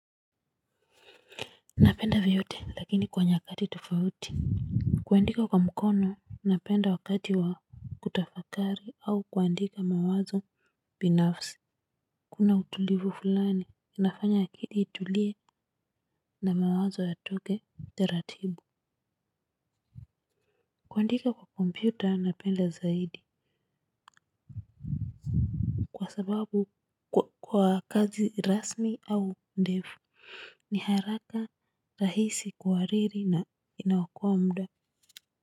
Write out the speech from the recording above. Napenda vyote lakini kwa nyakati tofauti kuandika kwa mkono napenda wakati wa kutafakari au kuandika mawazo binafsi. Kuna utulivu fulani inafanya akili itulie na mawazo yatoke Taratibu. Kuandika kwa kompyuta napenda zaidi kwa sababu kwa kazi rasmi au ndefu ni haraka rahisi kuhariri na inaokoa muda.